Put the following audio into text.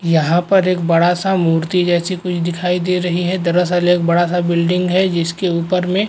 यहाँ पर एक बड़ा सा मूर्ति जैसी कुछ दिखाई दे रही है। दरअसल एक बड़ा से बिल्डिंग है जिसके ऊपर में --